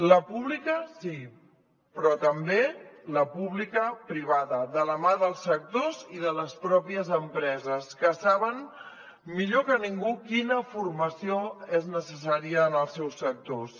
la pública sí però també la pública privada de la mà dels sectors i de les pròpies empreses que saben millor que ningú quina formació és necessària en els seus sectors